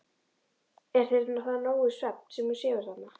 Er þér það nógur svefn, sem þú sefur þarna?